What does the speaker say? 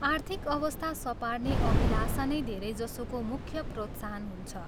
आर्थिक अवस्था सपार्ने अभिलाषा नै धेरैजसोको मुख्य प्रोत्साहन हुन्छ।